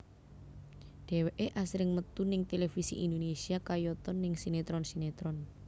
Dheweké asring metu ning televisi Indonésia kayata ning sinetron sinetron